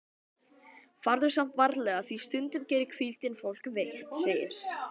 Farðu samt varlega því stundum gerir hvíldin fólk veikt, segir